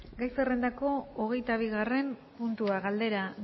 gai zerrendako hogeita bigarren puntua galdera